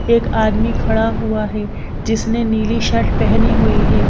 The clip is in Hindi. एक आदमी खड़ा हुआ है जिसने नीली शर्ट पहनी हुई है।